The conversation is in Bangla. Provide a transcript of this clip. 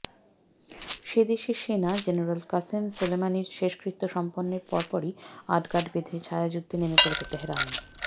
সে দেশের সেনা জেনারেল কাসেম সোলেমানির শেষকৃত্য সম্পন্নের পরপরই আটঘাঁট বেধে ছায়াযুদ্ধে নেমে পড়েছে তেহরান